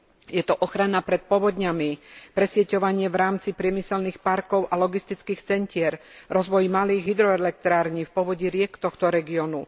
Je to ochrana pred povodňami, presieťovanie v rámci priemyselných parkov a logistických centier, rozvoj malých hydroelektrární v povodí riek tohto regiónu.